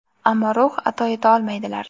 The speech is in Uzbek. ammo ruh ato eta olmaydilar.